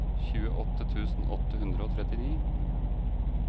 tjueåtte tusen åtte hundre og trettini